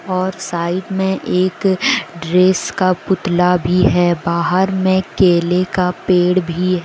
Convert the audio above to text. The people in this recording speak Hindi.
और साइड में एक ड्रेस का पुतला भी है बाहर में केले का पेड़ भी हैं।